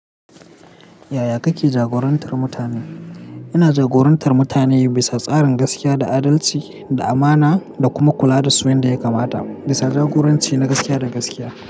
Yaya kake jagorantar mutane? Ina jagorantar mutane bisa tsarin gaskiya da adalci da amana, da kuma kula da su yanda ya kamata, bisa jagoranci na gaskiya da gaskiya.